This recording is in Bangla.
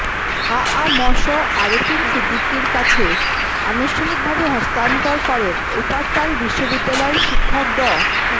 আ আ ম স আরেফিন সিদ্দিকের কাছে আনুষ্ঠানিকভাবে হস্তান্তর করেন উপারটাল বিশ্ববিদ্যালয়ের শিক্ষক ড